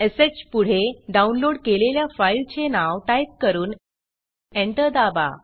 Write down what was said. श पुढे डाऊनलोड केलेल्या फाईलचे नाव टाईप करून एंटर दाबा